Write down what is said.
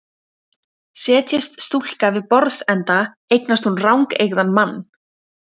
Setjist stúlka við borðsenda eignast hún rangeygðan mann.